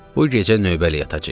Bu gecə növbəli yatacağıq.